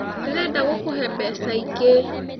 Ndĩrenda gũkũhe mbeca ingĩ